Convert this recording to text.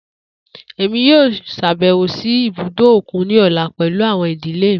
Emi yoo ṣabẹwo si ibudo okun ni ọla pẹlu awọn idile mi.